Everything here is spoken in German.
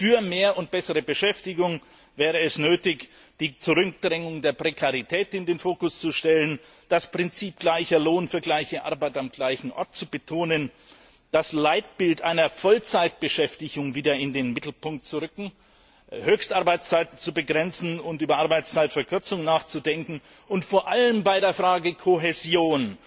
Für mehr und bessere Beschäftigung wäre es nötig, den Schwerpunkt auf die Zurückdrängung der Prekarität zu legen und das Prinzip Gleicher Lohn für gleiche Arbeit am gleichen Ort zu betonen, das Leitbild einer Vollzeitbeschäftigung wieder in den Mittelpunkt zu rücken, Höchstarbeitszeit zu begrenzen und über eine Arbeitszeitverkürzung nachzudenken, und vor allem bei der Frage der Kohäsion